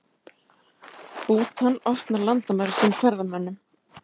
Bútan opnar landamæri sín ferðamönnum